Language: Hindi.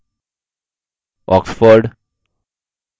publisher के सामने oxford